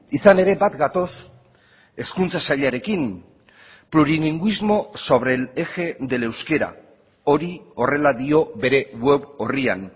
izan ere bat gatoz hezkuntza sailarekin plurilingüismo sobre el eje del euskera hori horrela dio bere web orrian